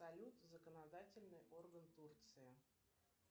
салют законодательный орган турции